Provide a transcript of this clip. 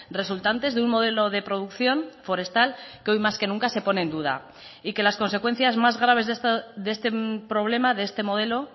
resultantes de un modelo de producción forestal que hoy más que nunca se pone en duda y que las consecuencias más graves de este problema de este modelo